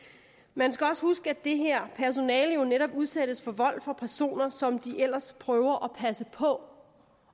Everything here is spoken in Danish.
man skal også huske at det her personale jo netop udsættes for vold fra personer som de ellers prøver at passe på